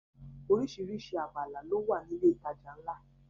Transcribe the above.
Oríṣiríṣi abala ló wà ní ilé ìtajà ńlá